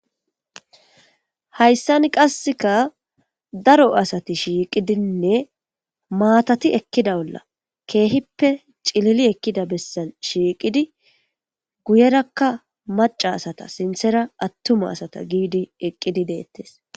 hayssan qasseka daro asati shiiqidinne maatati ekkida bolla keehippe cilili ekkida bessa shiiqidi guyerakka maca asata sinthera attuma asata giidi eqqidi deettes